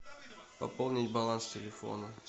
пополнить баланс телефона